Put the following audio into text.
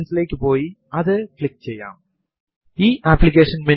മെസേജുകൾ സ്ക്രീനിൽ പ്രദർശിപ്പിക്കുന്നതിനാണ് ഈ കമാൻഡ് ഉപയോഗിക്കുന്നത്